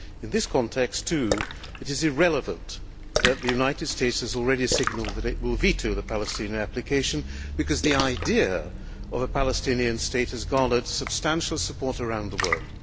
In this context, too, it is irrelevant that the United States has already signalled that it will veto the Palestinian application, because the idea of a Palestinian state has garnered substantial support around the world.